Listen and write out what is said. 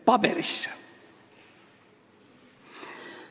– paberisse.